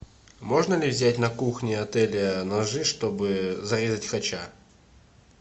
можно ли взять на кухне отеля ножи чтобы зарезать хача